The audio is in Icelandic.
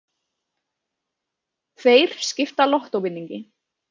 Tveir skipta lottóvinningi